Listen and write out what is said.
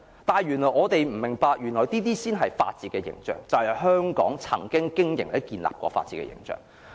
但我們不明白原來這些就是法治的形象，就是香港曾經經營建立的法治形象。